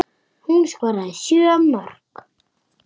Hún skoraði sjö mörk.